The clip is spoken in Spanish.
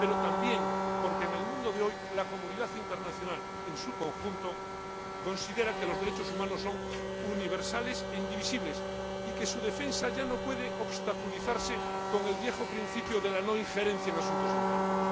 pero también porque, en el mundo de hoy, la comunidad internacional en su conjunto considera que los derechos humanos son universales e indivisibles cuya defensa ya no puede obstaculizarse con el viejo principio de la no injerencia en asuntos internos.